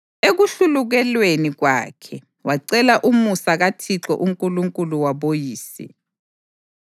Ekuhlulukelweni kwakhe wacela umusa kaThixo uNkulunkulu waboyise.